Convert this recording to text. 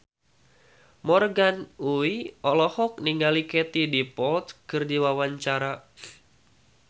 Morgan Oey olohok ningali Katie Dippold keur diwawancara